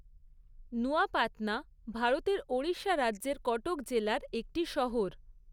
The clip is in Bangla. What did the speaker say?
নুয়াপাতনা ভারতের ওড়িশা রাজ্যের কটক জেলার একটি শহর।